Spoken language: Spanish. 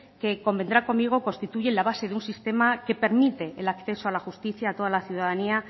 que convendrá conmigo constituye la base de un sistema que permite el acceso a la justicia a toda la ciudadanía